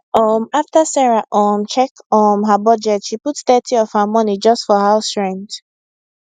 um after sarah um check um her budget she put thirty of her money just for house rent